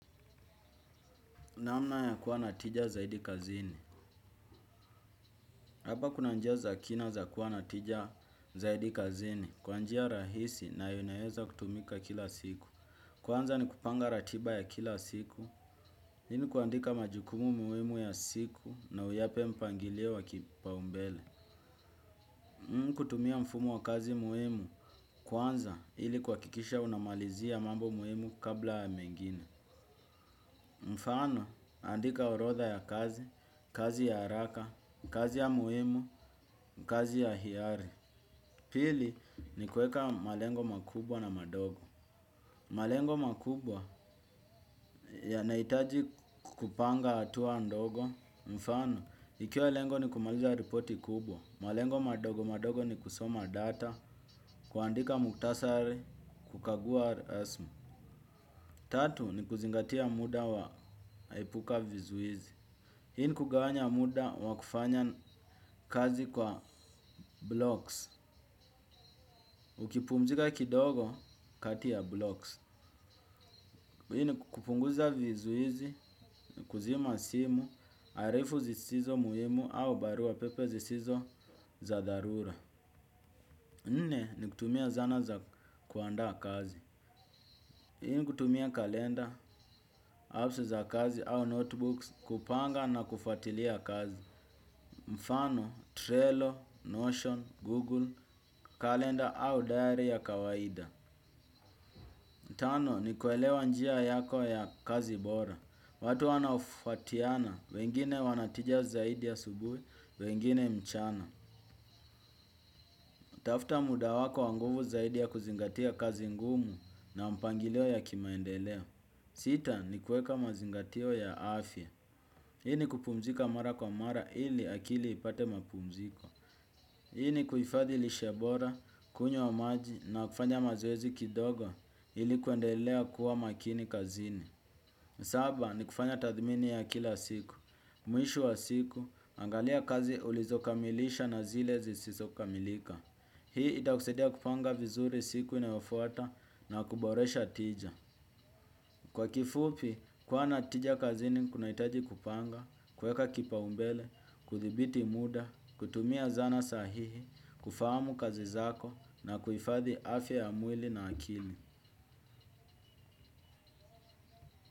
Namna ya kuwa na tija zaidi kazini. Hapa kuna njia za kina za kuwa na tija zaidi kazini. Kwa njia rahisi na inayoweza kutumika kila siku. Kwanza ni kupanga ratiba ya kila siku. Hii ni kuandika majukumu muhimu ya siku na uyape mpangilio wa kipaumbele. Kutumia mfumo wa kazi muhimu. Kwanza ili kuhakikisha unamalizia mambo muhimu kabla ya mengine. Mfano, andika orodha ya kazi, kazi ya haraka, kazi ya muhimu, kazi ya hiari. Pili, ni kueka malengo makubwa na madogo. Malengo makubwa, yanahitaji kupanga hatua ndogo. Mfano, ikiwa lengo ni kumaliza ripoti kubwa malengo madogo, madogo ni kusoma data kuandika muhtasari, kukagua rasmi. Tatu, ni kuzingatia muda wa epuka vizuizi. Hii ni kugawanya muda wa kufanya kazi kwa blocks. Ukipumzika kidogo kati ya blocks hii ni kupunguza vizuizi, kuzima simu, arifu zisizo muhimu au barua pepe zisizo za dharura nne ni kutumia zana za kuandaa kazi. Hii ni kutumia kalenda, apps za kazi au notebooks, kupanga na kufuatilia kazi. Mfano, Trello, Notion, Google, Kalenda au diary ya kawaida. Tano, ni kuelewa njia yako ya kazi bora. Watu wanaofuatiana, wengine wanatija zaidi ya asubuhi, wengine mchana. Tafuta muda wako wa nguvu zaidi ya kuzingatia kazi ngumu na mpangilio ya kimaendeleo. Sita, ni kueka mazingatio ya afya. Hii ni kupumzika mara kwa mara ili akili ipate mapumziko. Hii ni kuhifadhi lishe bora, kunywa maji na kufanya mazoezi kidogo ili kuendelea kuwa makini kazini. Saba ni kufanya tathmini ya kila siku. Mwisho wa siku, angalia kazi ulizokamilisha na zile zisizokamilika. Hii itakusaidia kupanga vizuri siku inayofuata na kuboresha tija. Kwa kifupi, kuwa na tija kazini kunahitaji kupanga, kuweka kipaumbele, kuthibiti muda, kutumia zana sahihi, kufahamu kazi zako na kuhifadhi afya ya mwili na akili.